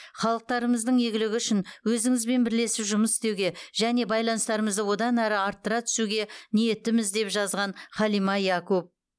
халықтарымыздың игілігі үшін өзіңізбен бірлесіп жұмыс істеуге және байланыстарымызды одан әрі арттыра түсуге ниеттіміз деп жазған халима якоб